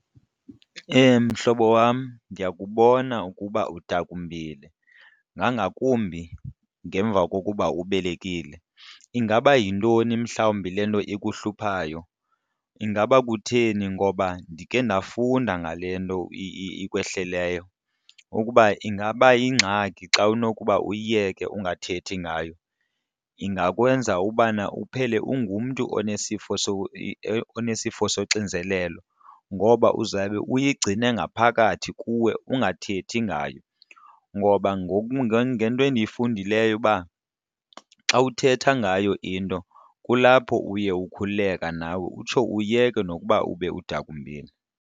Mhlobo wam, ndiyakubona ukuba udakumbile ngangakumbi ngemva kokuba ubelekile. Ingaba yintoni mhlawumbi le nto ikuhluphayo? Ingaba kutheni? Ngoba ndikhe ndafunda ngale nto ikwehleleyo ukuba ingaba yingxaki xa unokuba uyiyeke ungathethi ngayo, ingakwenza ubana uphele ungumntu onesifo onesifo soxinzelelo, ngoba uzawube uyigcine ngaphakathi kuwe ungathethi ngayo. Ngoba ngoku ngento endiyifundileyo uba xa uthetha ngayo into kulapho uye ukhululeka nawe utsho uyeke nokuba ube udakumbile.